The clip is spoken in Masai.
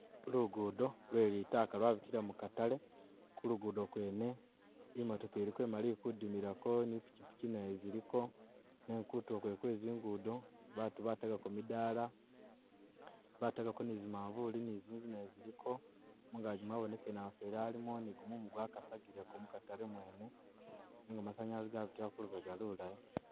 Lugudo lwe litaka lwabitila mu katale kulugudo kwene imotoka iliko imali ilikudimilako ni ipikyipkyi nazo ziliko nenga kutulo kwene kwezingudo batu batagako midala batagako ni zimavulu ni zinzu nazo ziliko, mungagi mwabonekele mamufweli alimo ni gumumu gwakasagileko mukazale mwene nenga masanyalazi gabitila kulubega lulayi.